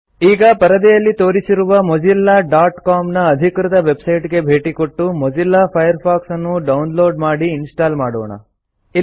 000332 000310 ಈಗ ಪರದೆಯಲ್ಲಿ ತೋರಿಸಿರುವ mozillaಸಿಒಎಂ ನ ಅಧಿಕೃತ ವೆಬ್ಸೈಟ್ಗೆ ಭೇಟಿಕೊಟ್ಟು ಮೊಜಿಲ್ಲಾ ಫೈರ್ಫಾಕ್ಸ್ ಅನ್ನು ಡೌನ್ಲೋಡ್ ಮಾಡಿ ಇನ್ಸ್ಟಾಲ್ ಮಾಡೋಣ